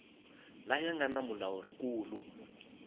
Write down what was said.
laya nga na mulawuri nkulu